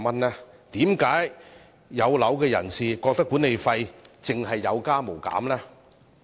為何"有樓人士"覺得管理費有加無減？